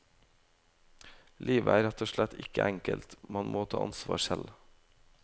Livet er rett og slett ikke enkelt, man må ta ansvar selv.